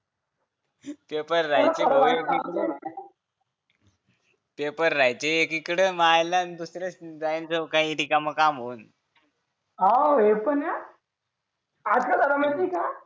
paper राहायचं एकीकडे तुला खरं सांगू का पेपर राहायचं एकीकडे मायला दुसरं जायन काही ठिकाणी काम होऊन आहे पण हाय हा आज काय झालं माहित आहे का